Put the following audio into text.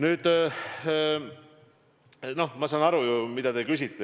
Aga ma saan aru ju, mida te küsite.